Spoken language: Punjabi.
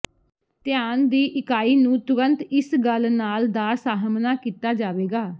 ਧਿਆਨ ਦੀ ਇਕਾਈ ਨੂੰ ਤੁਰੰਤ ਇਸ ਗੱਲ ਨਾਲ ਦਾ ਸਾਹਮਣਾ ਕੀਤਾ ਜਾਵੇਗਾ